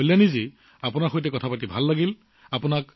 ঠিক আছে কল্যাণীজী আপোনাৰ লগত কথা পাতি ভাল লাগিল